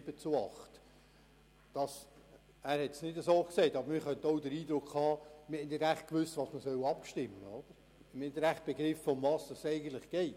Er hat es nicht so gesagt, aber man könnte auch den Eindruck haben, man habe nicht so recht gewusst, was man stimmen soll, und habe nicht so recht begriffen, worum es eigentlich geht.